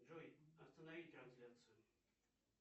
джой останови трансляцию